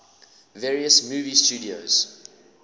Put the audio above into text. various movie studios